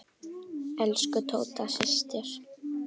Elsku Tóta systir.